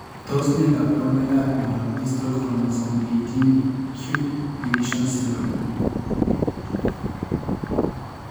Tos ne kaborunoikap miondop Distal chromosome 18q deletion syndrome?